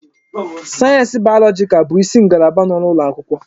Sayensị bayọlọjikal bụ isi ngalaba n'ụlọ akwụkwọ.